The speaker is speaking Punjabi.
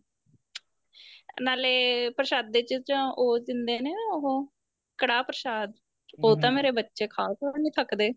ਨਾਲੇ ਪ੍ਰਸ਼ਾਦੇ ਚ ਤਾਂ ਉਹ ਦਿੰਦੇ ਨੇ ਨਾ ਉਹ ਕੜ੍ਹਾਹ ਪ੍ਰਸ਼ਾਦ ਉਹ ਤਾਂ ਮੇਰੇ ਬੱਚੇ ਖਾ ਖਾ ਨੀਂ ਥੱਕਦੇ